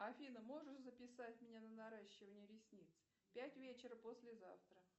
афина можешь записать меня на наращивание ресниц пять вечера послезавтра